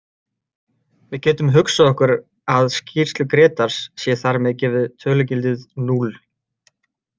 Við getum hugsað okkur að skýrslu Grétars sé þar með gefið tölugildið núll.